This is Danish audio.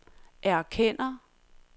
erkender